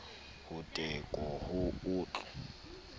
ho teko ho o tl